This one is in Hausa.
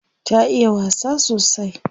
Ta iya wasa sosai.